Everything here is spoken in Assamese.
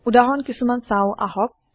উদাহৰণ কিছোমান চাওঁ আহক